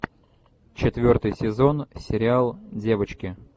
четвертый сезон сериал девочки